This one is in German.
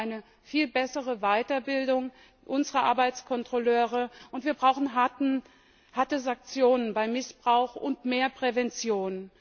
Wir brauchen eine viel bessere Weiterbildung unserer Arbeitskontrolleure. Wir brauchen harte Sanktionen bei Missbrauch und mehr Prävention.